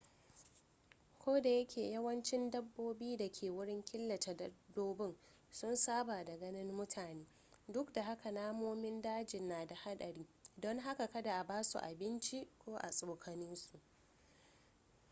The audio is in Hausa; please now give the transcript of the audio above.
kodayake yawancin dabbobi da ke wurin killace dabbobin sun saba da ganin mutane duk da haka namomin daji na da hadari don haka kada a basu abinci ko a tsokane su